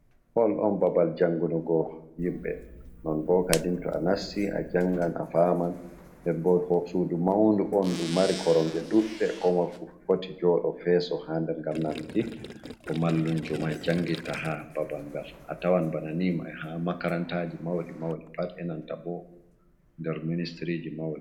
Hall on babal jangunugo himɓe. Non bo kadi to a nasti a jangan, a faman. Nden bo sudu maundu oo nɗu mari koromje duɗɗe, komoi fu foti jooɗo, feso ha nder ngam nanuki ko mallunjo mai jangitta ha babal ngal. A tawan bana ni mai ha makarantaji mauɗi-mauɗi pat e nanta bo nder ministriji mauɗi.